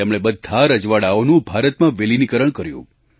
તેમણે બધાં રજવાડાંઓનું ભારતમાં વિલિનીકરણ કર્યું